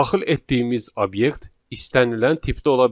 Daxil etdiyimiz obyekt istənilən tipdə ola bilər.